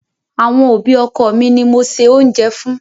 Àwọn òbí ọkọ mi ni mo se oúnjẹ fún.